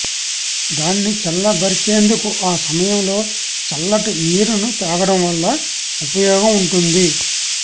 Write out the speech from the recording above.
దాన్ని చల్లబరిచేందుకు ఆ సమయంలో చల్లటి నీరును తాగడం వల్ల ఉపయోగం ఉంటుంది